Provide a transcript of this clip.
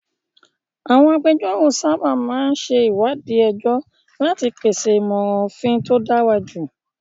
Àwọn agbẹjọ́rò sábà máa ń ṣe ìwádìí ẹjọ́ láti pèsè ìmọ̀ràn òfin tó dára jù.